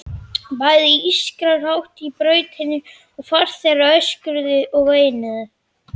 Bæði ískraði hátt í brautinni og farþegarnir öskruðu og veinuðu.